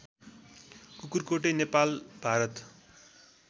Kukurkote Nepal Bharat